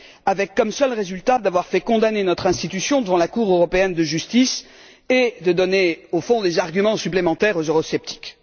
avec comme seul résultat d'avoir fait condamner notre institution devant la Cour de justice européenne et de donner au fond des arguments supplémentaires aux eurosceptiques?